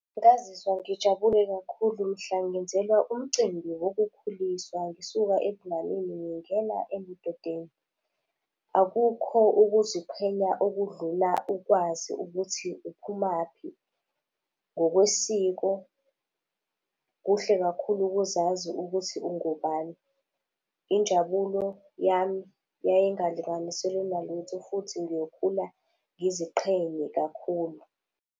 Ngazizwa ngijabule kakhulu mhla ngenzelwa umcimbi wokukhuliswa ngisuka ebunganeni ngingena ebudodeni. Akukho ukuziqhenya okudlula ukwazi ukuthi uphumaphi ngokwesiko. Kuhle kakhulu ukuzazi ukuthi ungubani. Injabulo yami, yayingalinganiselwe nalutho futhi ngiyokhula ngiziqhenye kakhulu.